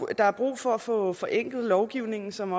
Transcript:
er brug for at få forenklet lovgivningen som